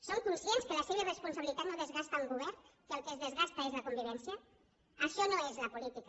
són conscients que la seva irresponsabilitat no desgasta un govern que el que es desgasta és la convivència això no és la política